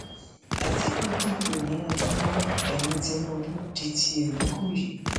àtìkù dìbò ni adamawa remi tinubu di tiẹ nìkòyí